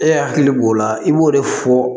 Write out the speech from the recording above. E hakili b'o la i b'o de fɔ